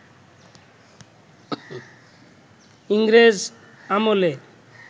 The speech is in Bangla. ইংরেজ আমলে